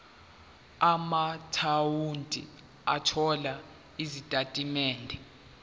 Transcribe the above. amaakhawunti othola izitatimende